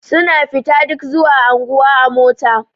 Suna fita duk zuwa anguwa a mota.